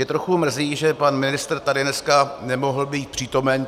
Mě trochu mrzí, že pan ministr tady dneska nemohl být přítomen.